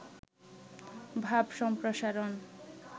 ভাব সম্প্রসারণ